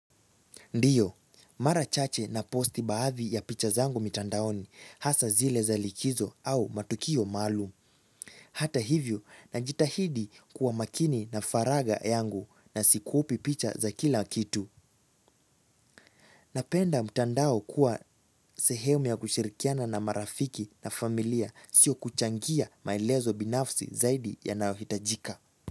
Ndio, mara chache na posti baadhi ya picha zangu mitandaoni hasa zile za likizo au matukio maalum. Hata hivyo, najitahidi kuwa makini na faraga yangu na sikupi picha za kila kitu. Napenda mtandao kuwa sehemu ya kushirikiana na marafiki na familia sio kuchangia maelezo binafsi zaidi yanayo hitajika.